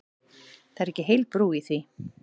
Það er ekki heil brú í því.